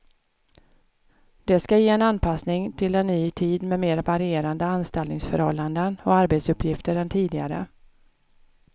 Det ska ge en anpassning till en ny tid med mer varierande anställningsförhållanden och arbetsuppgifter än tidigare.